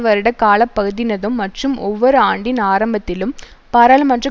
வருட காலப்பகுதியினதும் மற்றும் ஒவ்வொரு ஆண்டின் ஆரம்பத்திலும் பாராளுமன்ற